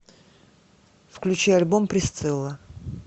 включи альбом присцилла